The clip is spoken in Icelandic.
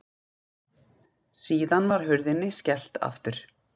Síðan var hurðinni skellt aftur.